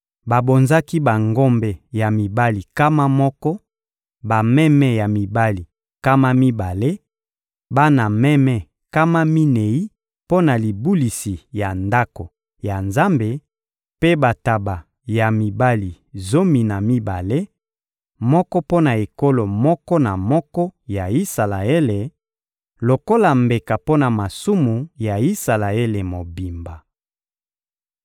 Babonzaki bangombe ya mibali nkama moko, bameme ya mibali nkama mibale, bana meme nkama minei mpo na libulisi ya Ndako ya Nzambe; mpe bantaba ya mibali zomi na mibale, moko mpo na ekolo moko na moko ya Isalaele, lokola mbeka mpo na masumu ya Isalaele mobimba.